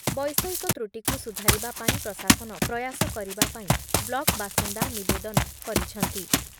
ବୈଷୟିକ ତ୍ରୁଟିକୁ ସୁଧାରିବା ପାଇଁ ପ୍ରଶାସନ ପ୍ରୟାସ କରିବା ପାଇଁ ବ୍ଲକ୍ ବାସିନ୍ଦା ନିବେଦନ କରିଛନ୍ତି ।